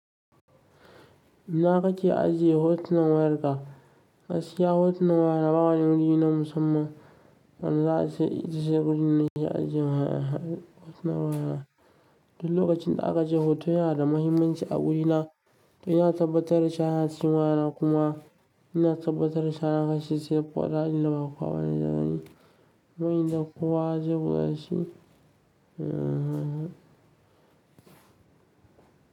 Ina ka ke ajiye hotuna wayarka? Gaskiya hotuna waya na ba wani guri na musamman, ana za aje guri nashi aje waya hotuna waya. Duka lokacin da aka je hoto yana da mahimmanci a wuri na, to ina tabbatar da cewa ina cikin waya na kuma ina tabbatar da shahararsa sai da kwata illa ba kuwa wani damuni. Wai ina kuwa zuba shi?